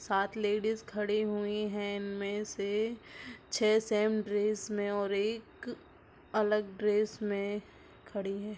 सात लेडीस खड़ी हुई है इनमे से छ सेम ड्रेस मे और एक अलग ड्रेस मे खड़ी है।